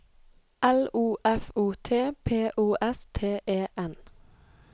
L O F O T P O S T E N